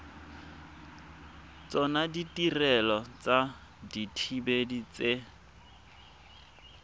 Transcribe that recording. tsona ditirelo tsa dithibedi tse